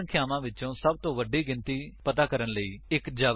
ਤਿੰਨਸੰਖਿਆਵਾਂਵਿੱਚੋਂ ਸਭਤੋਂ ਵੱਡੀ ਗਿਣਤੀ ਪਤਾ ਕਰਨ ਲਈ ਇੱਕ ਜਾਵਾ ਪ੍ਰੋਗਰਾਮ ਲਿਖੋ